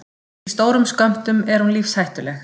Í stórum skömmtum er hún lífshættuleg.